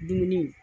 Dumuni